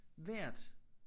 Vejret